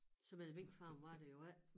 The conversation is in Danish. Så mange minkfarme var der jo ikke